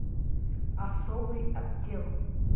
особый отдел